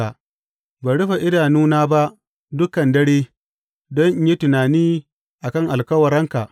Ban rufe idanuna ba dukan dare, don in yi tunani a kan alkawuranka.